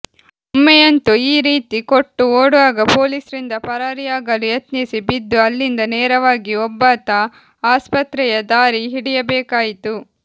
ಒಮ್ಮೆಯಂತೂ ಈ ರೀತಿ ಕೊಟ್ಟು ಓಡುವಾಗ ಪೋಲಿಸ್ರಿಂದ ಪರಾರಿಯಾಗಲು ಯತ್ನಿಸಿ ಬಿದ್ದು ಅಲ್ಲಿಂದ ನೇರವಾಗಿ ಒಬ್ಬಾತ ಆಸ್ಪತೆಯ ದಾರಿ ಹಿಡಿಯಬೇಕಾಯಿತು